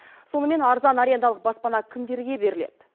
сонымен арзан арендалық баспана кімдерге беріледі